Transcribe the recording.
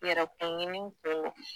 Yɛrɛkun ɲini don